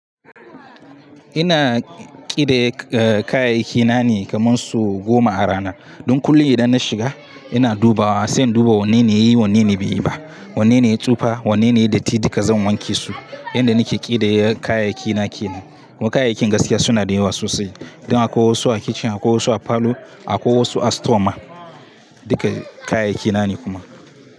Ina ƙidaya eh kayayyakina ne kaman sau goma a rana. Don kullum idan na shiga ina duba wa, sai in duba wanne ne ya yi, wanne na bai yi ba. Wanne na yi tsufa, wanne na yi datti, duka zan wanke su. Yanda nake ƙidaya kayayyakina kenan. Kuma kayayyakin gaskiya suna da yawa sosai. Don akwai wasu a kicin, akwai wasu a falo, akwai wasu a store ma. Duka kayayyakina ne kuma.